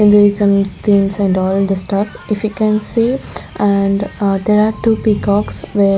and there is some thing and all the stuff if you can see and ah there are two peacocks where --